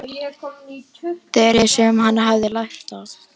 Þeirri sem hann hefði lært af.